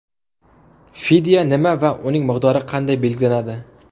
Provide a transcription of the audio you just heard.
Fidya nima va uning miqdori qanday belgilanadi?.